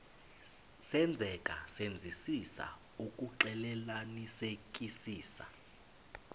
senzeka senzisisa ukuxclelanisekisisa